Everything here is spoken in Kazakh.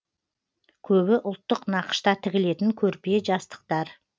көбі ұлттық нақышта тігілетін көрпе жастықтар